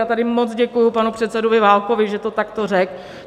Já tady moc děkuji panu předsedovi Válkovi, že to takto řekl.